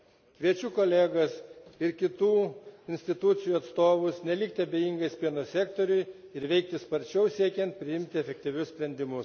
Kviečiu kolegas ir kitų institucijų atstovus nelikti abejingais pieno sektoriui ir veikti sparčiau, siekiant priimti efektyvius sprendimus.